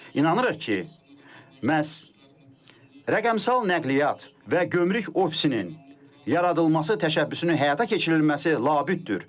İnanırıq ki, məhz rəqəmsal nəqliyyat və gömrük ofisinin yaradılması təşəbbüsünün həyata keçirilməsi labüddür.